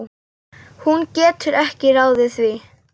Hún getur ekki ráðið því.